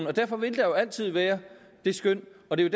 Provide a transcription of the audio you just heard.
det derfor vil der altid være det skøn og det er